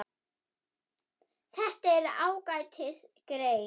Þetta er ágætis grein.